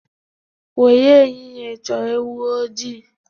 Were ehiehe choo ewu ojii